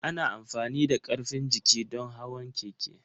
Ana amfani da karfin jiki don hawan keke.